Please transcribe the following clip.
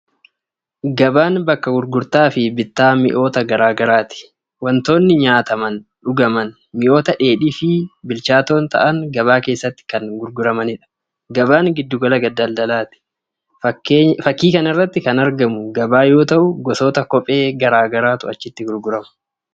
Gabaan bakka gurgurtaa fi bittaa mi'ootaa gara garaati. Wantootni nyaataman, dhugaman, mi'oota dheedhii fi bilchaatoo ta'an gabaa keessatti kan gurguramanidha. Gabaan giddu gala daldalaati. Fakkii kanarratti kan argamu gabaa yoo ta’u gosoota kophee gara garaatu achiitti gurgurama.